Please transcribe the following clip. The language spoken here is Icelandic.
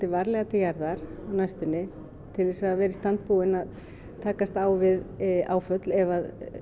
varlega til jarðar á næstunni til þess að vera í stand búin að takast á við áföll ef